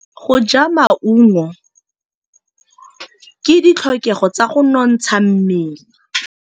Go ja maungo ke ditlhokegô tsa go nontsha mmele.